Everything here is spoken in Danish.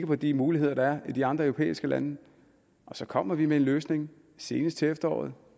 på de muligheder der er i de andre europæiske lande og så kommer vi med en løsning senest til efteråret